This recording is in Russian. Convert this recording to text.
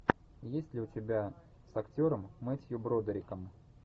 есть ли у тебя с актером мэтью бродериком